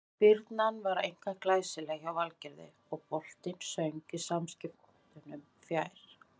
Spyrnan var einkar glæsileg hjá Valgerði og boltinn söng í samskeytunum fjær.